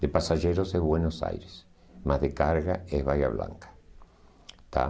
De passageiros é Buenos Aires, mas de carga é Bahía Blanca, tá.